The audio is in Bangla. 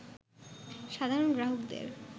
সাধারণ গ্রাহকদের